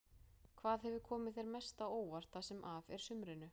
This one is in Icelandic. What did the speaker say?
Hvað hefur komið þér mest á óvart það sem af er sumrinu?